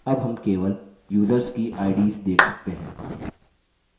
अब हम केवल युसर्स की ids देख सकते हैं